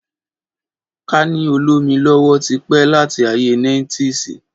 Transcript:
Kàní òlòmí ọlọwọ ti pẹ làtí àyé níetísì